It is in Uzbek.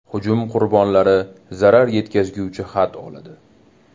Hujum qurbonlari zarar yetkazuvchi xat oladi.